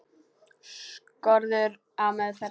Skorður á meðferð hluta.